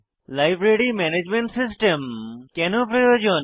library management system কেনো প্রয়োজন